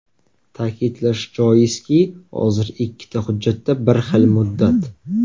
Ta’kidlash joizki, hozir ikkita hujjatda ikki xil muddat.